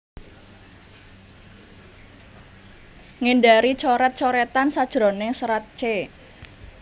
Ngindari coret coretan sajroning serat c